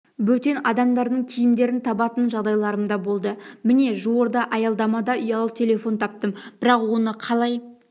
бөтен адамдардың киімдерін табатын жағдайларым да болды міне жуырда аялдамада ұялы телефон таптым бірақ оны қалай